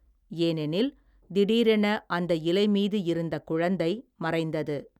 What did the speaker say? ஏனெனில், திடீரென அந்த இலை மீது இருந்த குழந்தை, மறைந்தது.